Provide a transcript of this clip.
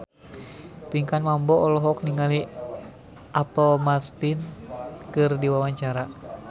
Pinkan Mambo olohok ningali Apple Martin keur diwawancara